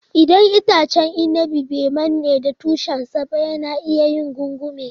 Idan itacen inabi bai manne da tushen sa ba, yana iya yin gungume.